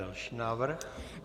Další návrh.